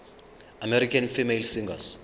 american female singers